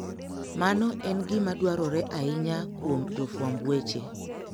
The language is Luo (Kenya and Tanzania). Mano en gima dwarore ahinya kuom jofwamb weche.